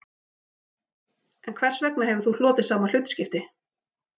En hvers vegna hefur þú hlotið sama hlutskipti